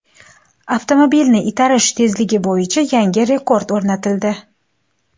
Avtomobilni itarish tezligi bo‘yicha yangi rekord o‘rnatildi.